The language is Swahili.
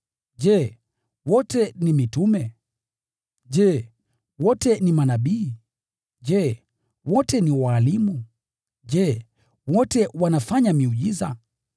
Je, wote ni mitume? Je, wote ni manabii? Je, wote ni walimu? Je, wote wanatenda miujiza?